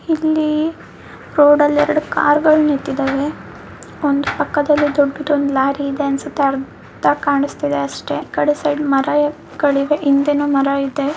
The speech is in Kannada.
ಇಲ್ಲಿ ರೋಡ್ ಅಲ್ಲಿ ಎರಡ ಕಾರ್ ಗಳು ನಿಂತಿದವೆ ಒಂದು ಪಕ್ಕದಲ್ಲಿ ದೊಡ್ಡದೊಂದು ಲಾರಿ ಇದೆ ಅನ್ನಸುತ್ತೆ ಅರ್ಧ ಕಾಣಸ್ತಿದೆ ಅಷ್ಟೇ ಈಕಡೆ ಸೈಡ್ ಮರಗಳಿವೆ ಹಿಂದೆನು ಮರ ಇದೆ.